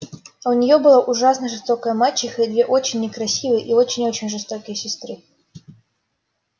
а у нее была ужасно жестокая мачеха и две очень некрасивые и очень-очень жестокие сестры